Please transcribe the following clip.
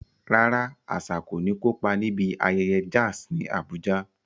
Rárá, Asa kò ní kópa níbi ayẹyẹ jazz ní Abuja.